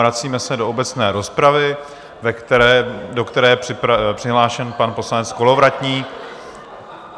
Vracíme se do obecné rozpravy, do které je přihlášen pan poslanec Kolovratník.